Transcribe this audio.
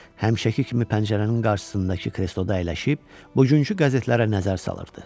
Həmişəki kimi pəncərənin qarşısındakı kresloda əyləşib bugünkü qəzetlərə nəzər salırdı.